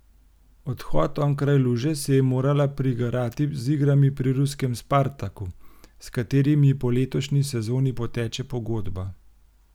Odhod onkraj luže si je morala prigarati z igrami pri ruskem Spartaku, s katerim ji po letošnji sezoni poteče pogodba.